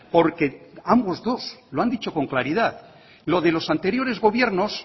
porque ambos dos lo han dicho con claridad lo de los anteriores gobiernos